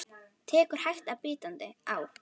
Tekur hægt og bítandi á.